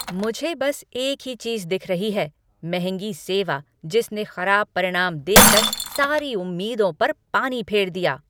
मुझे बस एक ही चीज़ दिख रही है, महंगी सेवा जिसने खराब परिणाम देकर सारी उम्मीदों पर पानी फेर दिया।